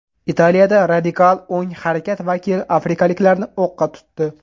Italiyada radikal o‘ng harakat vakili afrikaliklarni o‘qqa tutdi.